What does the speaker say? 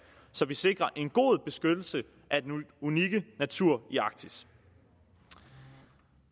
så vi sikrer en god beskyttelse af den unikke natur i arktis